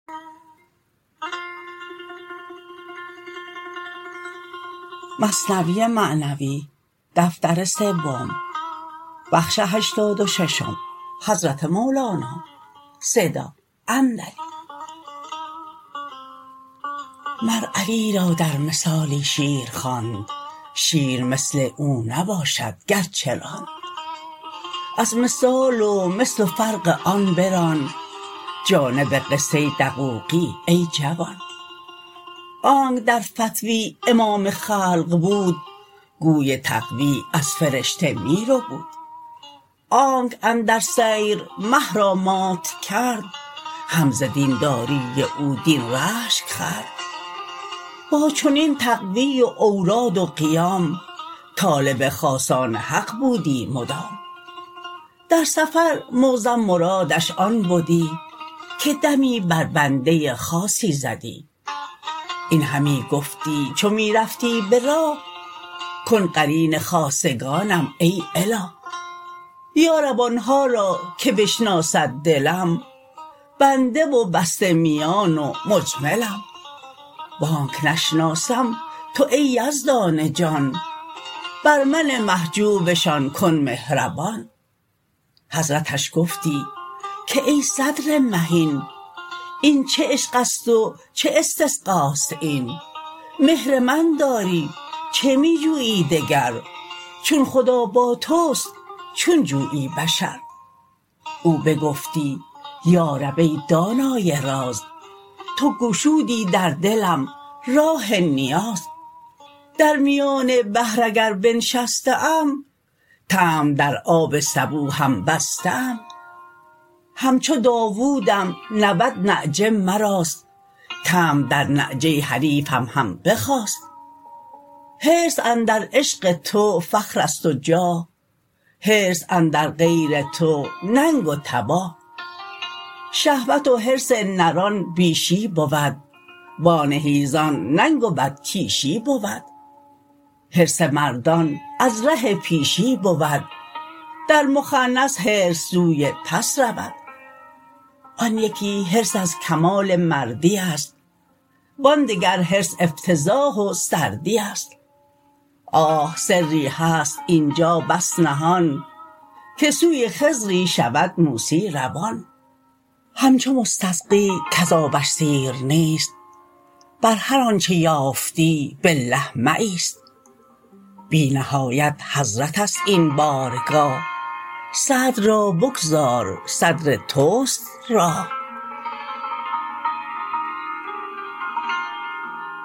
مر علی را در مثالی شیر خواند شیر مثل او نباشد گرچه راند از مثال و مثل و فرق آن بران جانب قصه دقوقی ای جوان آنک در فتوی امام خلق بود گوی تقوی از فرشته می ربود آنک اندر سیر مه را مات کرد هم ز دین داری او دین رشک خورد با چنین تقوی و اوراد و قیام طالب خاصان حق بودی مدام در سفر معظم مرادش آن بدی که دمی بر بنده خاصی زدی این همی گفتی چو می رفتی به راه کن قرین خاصگانم ای اله یا رب آنها را که بشناسد دلم بنده و بسته میان و مجملم و آنک نشناسم تو ای یزدان جان بر من محجوبشان کن مهربان حضرتش گفتی که ای صدر مهین این چه عشقست و چه استسقاست این مهر من داری چه می جویی دگر چون خدا با تست چون جویی بشر او بگفتی یا رب ای دانای راز تو گشودی در دلم راه نیاز درمیان بحر اگر بنشسته ام طمع در آب سبو هم بسته ام همچو داودم نود نعجه مراست طمع در نعجه حریفم هم بخاست حرص اندر عشق تو فخرست و جاه حرص اندر غیر تو ننگ و تباه شهوت و حرص نران بیشی بود و آن حیزان ننگ و بدکیشی بود حرص مردان از ره پیشی بود در مخنث حرص سوی پس رود آن یکی حرص از کمال مردی است و آن دگر حرص افتضاح و سردی است آه سری هست اینجا بس نهان که سوی خضری شود موسی روان همچو مستسقی کز آبش سیر نیست بر هر آنچ یافتی بالله مه ایست بی نهایت حضرتست این بارگاه صدر را بگذار صدر تست راه